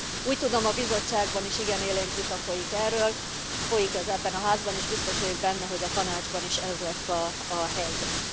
Úgy tudom, a Bizottságban is igen élénk vita folyik erről, folyik ez ebben a Házban is, és biztos vagyok benne, hogy a Tanácsban is ez lesz a helyzet.